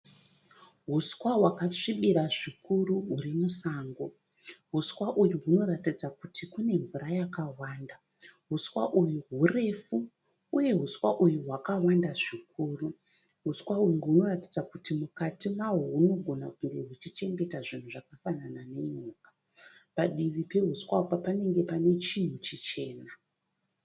Huswa wakasvibira zvikuru huri musango. Uswa uyu unoratidza kuti Kune mvura yakawanda . Huswa uyu hurefu uye huswa uyu hwakawanda zvikuru. Huswa uyu hunoratidza kuti mukati mahwo hunogona kunge huchichengeta zvinhu zvakafanana nenyoka. Padivi pehuswa uyu panenge panechinhu chichena.